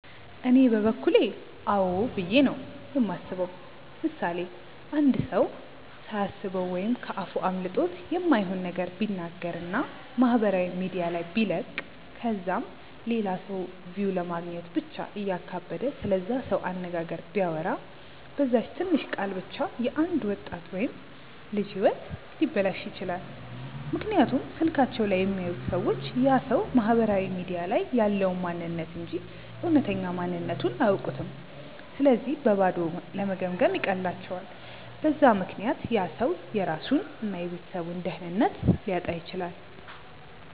እኔ በበኩሌ አዎ ብዬ ነው የማስበው። ምሳሌ፦ አንድ ሰው ሳያስበው ወይም ከ አፉ አምልጦት የማይሆን ነገር ቢናገር እና ማህበራዊ ሚዲያ ላይ ቢለቅ ከዛም ለላ ሰው ቪው ለማግኘት ብቻ እያካበደ ስለዛ ሰው አነጋገር ቢያወራ፤ በዛች ትንሽ ቃል ብቻ የ አንድ ወጣት ወይም ልጅ ህይወት ሊበላሽ ይችላል፤ ምክንያቱም ስልካቸው ላይ የሚያዩት ሰዎች ያ ሰው ማህበራዊ ሚዲያ ላይ ያለውን ማንንነት እንጂ እውነተኛ ማንነትቱን አያውኩም ስለዚህ በባዶ ለመገምገም ይቀላቸዋል፤ በዛ ምክንያት ያ ሰው የራሱን እና የቤተሰቡን ደህንነት ሊያጣ ይችላል።